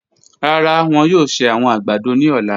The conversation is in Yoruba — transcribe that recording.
Rara, wọn yoo ṣe awọn agbado ni ọla.